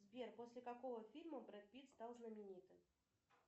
сбер после какого фильма брэд питт стал знаменитым